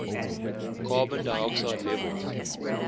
carbon dioxide levels